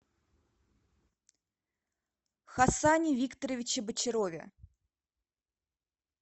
хасане викторовиче бочарове